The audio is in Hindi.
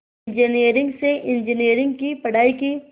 इंजीनियरिंग से इंजीनियरिंग की पढ़ाई की